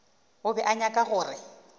o be a nyaka gore